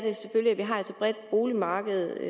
at vi har et så bredt boligmarked